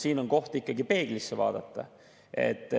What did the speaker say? Siin on ikkagi koht, et peeglisse vaadata.